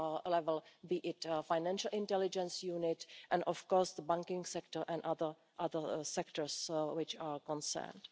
level, be it financial intelligence unit and, of course, the banking sector and other sectors which are concerned.